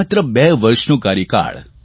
માત્ર બે વર્ષનો કાર્યકાળ